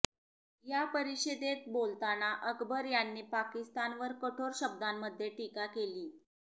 या परिषदेत बोलताना अकबर यांनी पाकिस्तानवर कठोर शब्दांमध्ये टीका केली